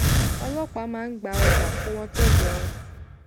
ọlọpàá máa ń gba ọjà kó wọn tó jẹun